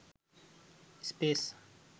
space